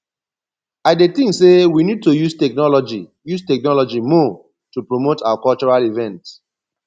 i dey think say we need to use technology use technology more to promote our cultural events